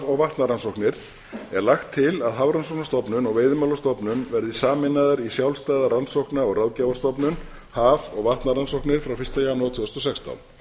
og vatnarannsóknir er lagt til að hafrannsóknastofnun og veiðimálastofnun verði sameinaðar í sjálfstæða rannsókna og ráðgjafarstofnun haf og vatnarannsóknir frá fyrsta janúar tvö þúsund og sextán